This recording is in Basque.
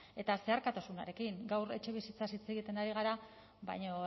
eta zeharkakotasunarekin gaur etxebizitzaz hitz egiten ari gara baina